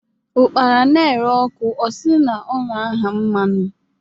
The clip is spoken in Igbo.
Ụ́kpara na-eré óku, osi o-na ahaa mmanu.